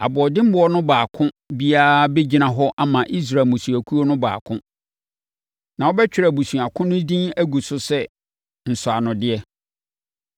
Aboɔdemmoɔ no baako biara bɛgyina hɔ ama Israel mmusuakuo no baako. Na wɔbɛtwerɛ abusua ko no din agu so sɛ nsɔanodeɛ.